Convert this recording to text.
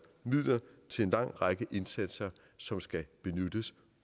midler til en lang række indsatser som skal benyttes